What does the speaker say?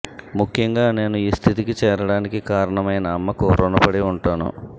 ముఖ్యంగా నేను ఈ స్థితికి చేరడానికి కారణమైన అమ్మకు ఋణపడి ఉంటాను